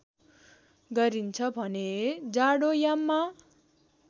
गरिन्छ भने जाडोयाममा